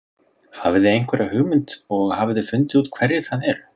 Hafið þið einhverja hugmynd og hafið þið fundið út hverjir það eru?